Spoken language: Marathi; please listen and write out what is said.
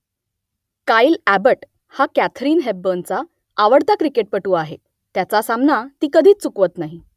काइल अॅबट हा कॅथरीन हेपबर्नचा आवडता क्रिकेटपटू आहे त्याचा सामना ती कधीच चुकवत नाही